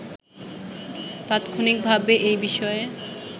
তাৎক্ষণিকভাবে এই বিষয়ে